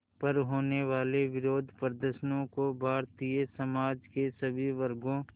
पर होने वाले विरोधप्रदर्शनों को भारतीय समाज के सभी वर्गों